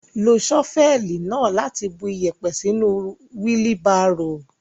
Lo ṣọ́fẹ́ẹ̀lì náà láti bu iyẹ̀pẹ̀ sínú wílí barò.